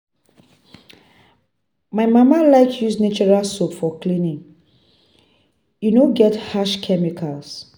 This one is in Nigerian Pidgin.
My mama like use natural soap for cleaning, e no get harsh chemicals.